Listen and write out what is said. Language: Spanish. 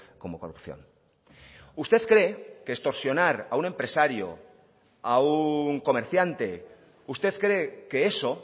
como corrupción usted cree que extorsionar a un empresario a un comerciante usted cree que eso